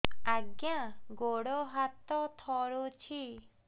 ଆଜ୍ଞା ଗୋଡ଼ ହାତ ଥରୁଛି